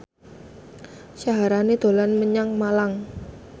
Syaharani dolan menyang Malang